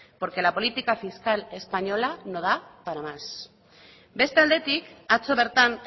porque la política fiscal española no da para más beste aldetik atzo bertan